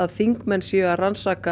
þingmenn séu að rannsaka